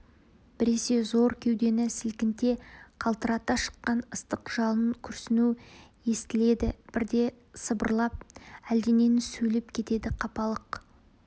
біресе зор кеудені сілкінте қалтырата шыққан ыстық жалын күрсіну естіледі бірде сыбырлап әлденені сөйлеп кетеді қапалық